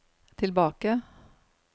tilbake